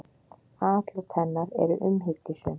Atlot hennar eru umhyggjusöm.